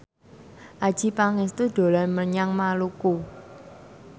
Adjie Pangestu dolan menyang Maluku